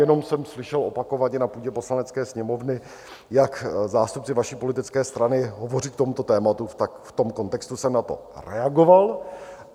Jenom jsem slyšel opakovaně na půdě Poslanecké sněmovny, jak zástupci vaší politické strany hovoří k tomuto tématu, tak v tom kontextu jsem na to reagoval.